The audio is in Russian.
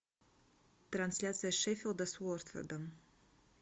трансляция шеффилда с уотфордом